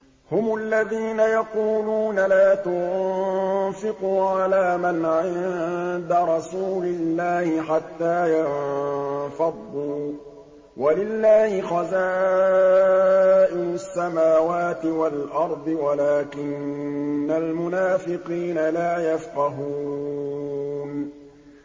هُمُ الَّذِينَ يَقُولُونَ لَا تُنفِقُوا عَلَىٰ مَنْ عِندَ رَسُولِ اللَّهِ حَتَّىٰ يَنفَضُّوا ۗ وَلِلَّهِ خَزَائِنُ السَّمَاوَاتِ وَالْأَرْضِ وَلَٰكِنَّ الْمُنَافِقِينَ لَا يَفْقَهُونَ